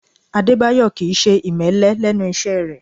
Adébáyọ̀ Kì í ṣe ìmẹ́lẹ́ lẹ́nu iṣẹ́ rẹ̀